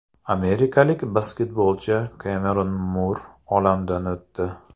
Amerikalik basketbolchi Kemeron Mur olamdan o‘tdi.